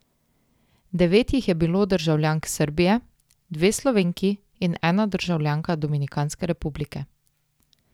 Devet jih je bilo državljank Srbije, dve Slovenki in ena državljanka Dominikanske republike.